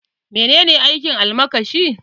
Menene aikin almakashi?